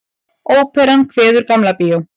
Óperan kveður Gamla bíó